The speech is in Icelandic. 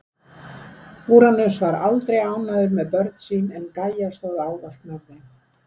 Úranus var aldrei ánægður með börn sín en Gæja stóð ávallt með þeim.